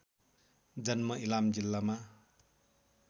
जन्म इलाम जिल्लामा